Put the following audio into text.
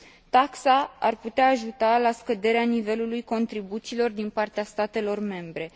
Taxa ar putea ajuta la scăderea nivelului contribuțiilor din partea statelor membre.